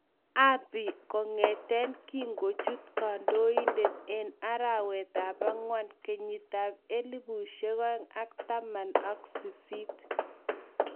Abiy kongeten kingochut kaindonatet en arawet ap angwan 2018.